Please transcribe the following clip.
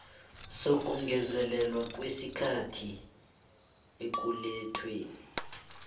sokungezelelwa kwesikhathi ekulethweni